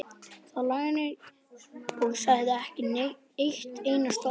Lá þannig lengi og sagði ekki eitt einasta orð.